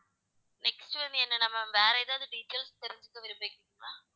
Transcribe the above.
next வந்து என்னன்னா ma'am வேற ஏதாவது details தெரிஞ்சுக்க விரும்புறீங்களா?